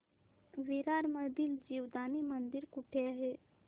विरार मधील जीवदानी मंदिर कुठे आहे